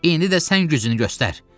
İndi də sən gücünü göstər!